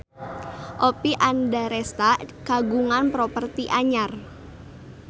Oppie Andaresta kagungan properti anyar